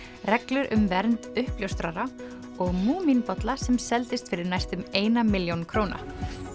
reglur um vernd uppljóstrara og múmínbolla sem seldist fyrir næstum eina milljón króna